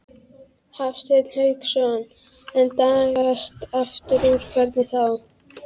Hafsteinn Hauksson: En dragast aftur úr, hvernig þá?